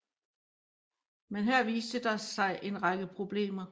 Men her viste der sig en række problemer